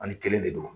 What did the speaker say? Ani kelen de don